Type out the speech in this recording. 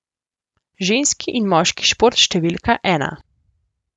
Ženski in moški šport številka ena.